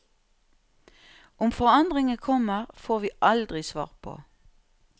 Om forandringen kommer, får vi aldri svar på.